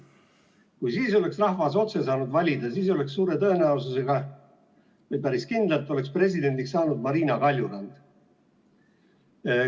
Kui siis oleks rahvas saanud otse valida, siis oleks suure tõenäosusega või päris kindlalt saanud presidendiks Marina Kaljurand.